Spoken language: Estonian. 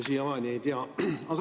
Siiamaani ei tea.